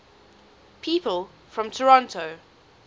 people from toronto